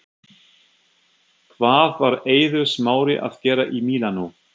Hvað var Eiður Smári að gera í Mílanó?